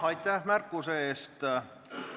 Aitäh märkuse eest!